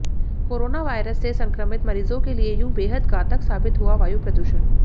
corona virus से संक्रमित मरीजों के लिए यूं बेहद घातक साबित हुआ वायु प्रदूषण